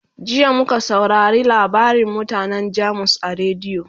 jiya muka saurare labarin mutanan jamus a rediyo